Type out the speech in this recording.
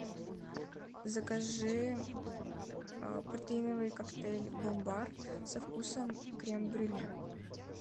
закажи протеиновый коктейль бомбар со вкусом крем брюле